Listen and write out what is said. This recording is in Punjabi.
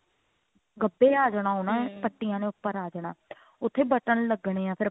ਗੱਭੇ ਆ ਜਾਣਾ ਉਹਨਾ ਪੱਟੀਆ ਨੇ ਉੱਪਰ ਆ ਜਾਣਾ ਉੱਥੇ button ਲਗਨੇ ਐ